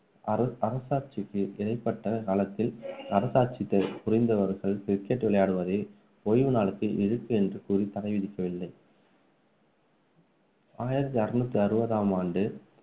அர~ அரசாட்சிக்கு இடைப்பட்ட காலத்தில் அரசாட்சி புரிந்தவர்கள் cricket விளையாடுவதை ஓய்வுநாளுக்கு இழுக்கு என்று கூறி தடை விதிக்கவில்லை ஆயிரத்து அறுநூத்தி அறுபதாம் ஆண்டு